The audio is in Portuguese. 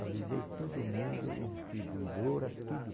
Avisei todo mundo e distribuidora, tudo.